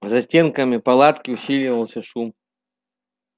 за стенками палатки усиливался шум